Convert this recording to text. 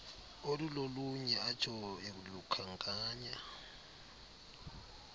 olulolunye atsho elukhankanya